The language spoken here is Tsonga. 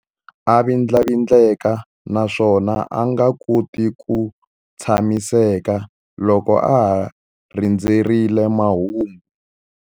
A vindlavindleka naswona a nga koti ku tshamiseka loko a ha rindzerile mahungu.